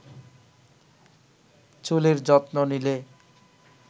চুলের যত্ন নিলে